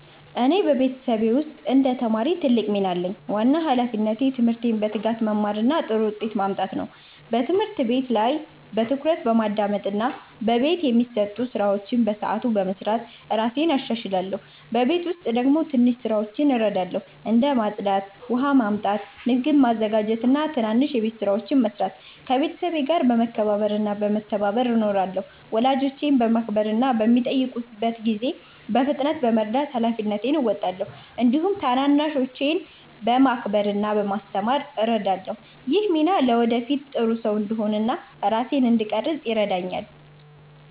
እኔ በቤተሰቤ ውስጥ እንደ ተማሪ ትልቅ ሚና አለኝ። ዋና ሃላፊነቴ ትምህርቴን በትጋት መማር እና ጥሩ ውጤት ማምጣት ነው። በትምህርት ቤት ላይ በትኩረት በማዳመጥ እና በቤት የሚሰጡ ስራዎችን በሰዓቱ በመስራት እራሴን እሻሻላለሁ። በቤት ውስጥ ደግሞ ትንሽ ስራዎችን እረዳለሁ፣ እንደ ማጽዳት፣ ውሃ ማመጣት፣ ምግብ ማዘጋጀት እና ትናንሽ የቤት ስራዎችን መስራት። ከቤተሰቤ ጋር በመከባበር እና በመተባበር እኖራለሁ። ወላጆቼን በማክበር እና በሚጠይቁት ጊዜ በፍጥነት በመርዳት ሃላፊነቴን እወጣለሁ። እንዲሁም ታናናሾችን በመከባበር እና በማስተማር እረዳለሁ። ይህ ሚና ለወደፊት ጥሩ ሰው እንድሆን እና ራሴን እንድቀርፅ ይረዳኛል።